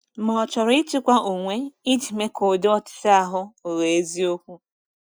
Ma ọ chọrọ ịchịkwa onwe iji mee ka ụdị ọchịchọ ahụ ghọọ eziokwu.